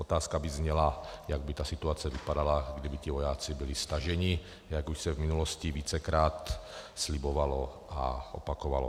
Otázka by zněla, jak by ta situace vypadala, kdyby ti vojáci byli staženi, jak už se v minulosti vícekrát slibovalo a opakovalo.